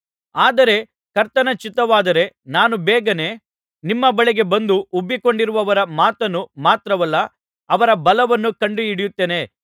ಆದರೆ ಕರ್ತನ ಚಿತ್ತವಾದರೆ ನಾನು ಬೇಗನೆ ನಿಮ್ಮ ಬಳಿಗೆ ಬಂದು ಉಬ್ಬಿಕೊಂಡಿರುವವರ ಮಾತನ್ನು ಮಾತ್ರವಲ್ಲ ಅವರ ಬಲವನ್ನು ಕಂಡುಹಿಡಿಯುತ್ತೇನೆ